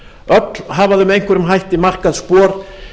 öll hafa þau með einhverjum hætti markað spor